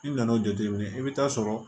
I nan'o jateminɛ i bɛ taa sɔrɔ